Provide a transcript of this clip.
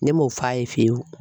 Ne m'o f'a ye fiye fiyewu.